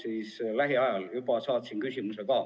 Saatsin selle kohta juba ka küsimuse.